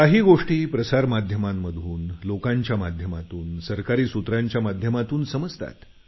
काही गोष्टी प्रसारमाध्यमांमधून लोकांच्या माध्यमातून सरकारी सूत्रांच्या माध्यमातून समजतात